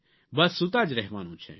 બસ સૂતા જ રહેવાનું છે